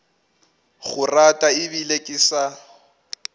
go rata ebile ke sa